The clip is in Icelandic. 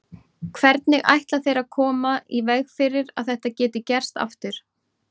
Hvernig ætla þeir að koma í veg fyrir að þetta geti gerst aftur?